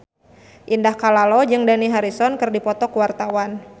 Indah Kalalo jeung Dani Harrison keur dipoto ku wartawan